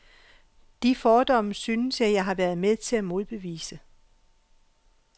De fordomme synes jeg, at jeg har været med til at modbevise.